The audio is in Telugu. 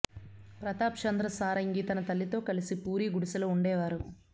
ప్రతాప్ చంద్ర సారంగి తన తల్లితో కలిసి పూరి గుడిసెలో ఉండేవారు